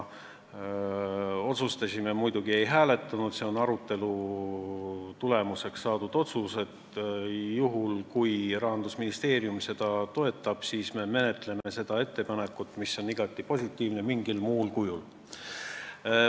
Me otsustasime – muidugi ei hääletanud, see on arutelu tulemusel tehtud otsus –, et juhul kui Rahandusministeerium seda toetab, siis me menetleme seda ettepanekut, mis on igati positiivne, mingil muul moel.